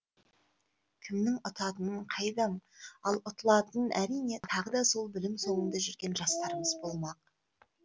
кімнің ұтатының қайдам ал ұтылатын әрине тағы да сол білім соңында жүрген жастарымыз болмақ